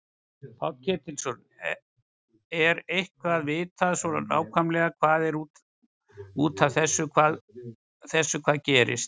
Páll Ketilsson: Er eitthvað vitað svona nákvæmlega hvað var út af þessu hvað gerðist?